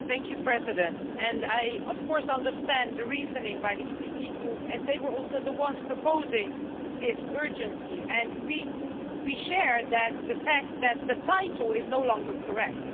Mr President, I of course understand the reasoning by the EPP group as they were also the ones proposing this urgency, and we share the fact that the title is no longer correct.